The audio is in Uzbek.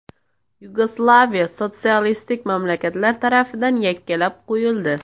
Yugoslaviya sotsialistik mamlakatlar tarafidan yakkalab qo‘yildi.